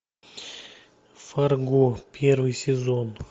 фарго первый сезон